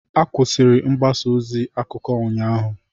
Akwụsịrụ mgbasa ozi akụkọ ụnyaahụ